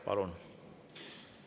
Palun!